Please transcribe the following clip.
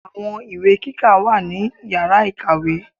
Àwọn ìwé kíkà wà ní Yàrá ìkàwé.